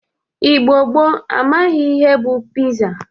Igbo gboo amaghi ihe bụ piza.